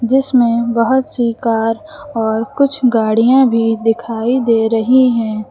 जिसमें बहुत सी कार और कुछ गाड़ियां भी दिखाई दे रही हैं।